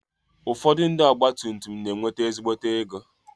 Ụfọdụ ndị ọgba tum tum na-enwete ezigbo ego.